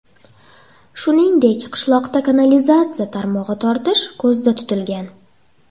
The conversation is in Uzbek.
Shuningdek, qishloqda kanalizatsiya tarmog‘i tortish ko‘zda tutilgan.